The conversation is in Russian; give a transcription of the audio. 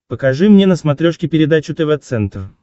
покажи мне на смотрешке передачу тв центр